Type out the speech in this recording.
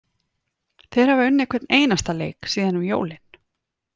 Þeir hafa unnið hvern einasta leik síðan um jólin.